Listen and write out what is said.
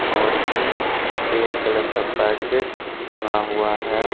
और इसमें red colour का पैकेट टंगा हुआ है।